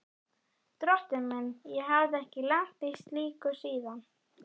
Drottinn minn, ég hafði ekki lent í slíku síðan.